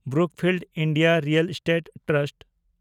Brookfield India real estate trust